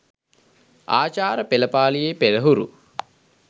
ආචාර පෙළපාළියේ පෙරහුරු